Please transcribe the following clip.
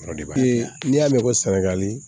N'i y'a mɛn ko sɛnɛgali